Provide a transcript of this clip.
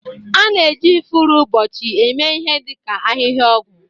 A na-eji ifuru ụbọchị eme ihe dị ka ahịhịa ọgwụ